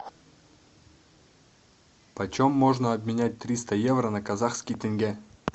почем можно обменять триста евро на казахский тенге